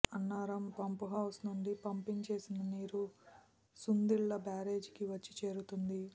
Annaram pump house నుంచి pumping చేసిన నీరు సుందిళ్ల బ్యారేజీకి వచ్చి చేరుతుంది